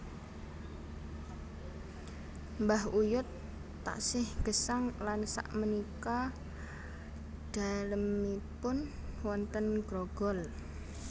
Mbah uyut taksih gesang lan sak menika dalemipun wonten Grogol